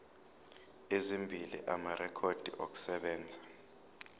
ezimbili amarekhodi okusebenza